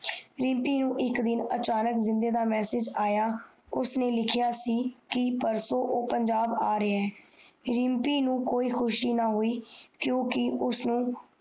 ਰਿਮਪੀ ਨੂੰ ਇਕ ਦਿਨਅਚਾਨਕ ਜਿੰਦੇ ਦਾ message ਆਯਾ ਕਿ ਪਰਸੋ ਓ ਪੰਜਾਬ ਆ ਰਿਹਾ ਹੈ ਰਿਮਪੀ ਨੂੰ ਕੋਈ ਖੁਸ਼ੀ ਨਹੀਂ ਹੋਇ ਕਿਉਕਿ ਉਸਨੂੰ